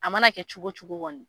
A mana kɛ cogo wo cogo kɔni.